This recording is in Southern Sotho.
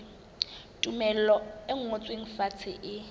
tumello e ngotsweng fatshe e